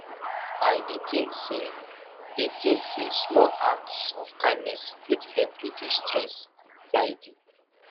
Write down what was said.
i dey think say dey think say small acts of kindness fit help reduce stress and anxiety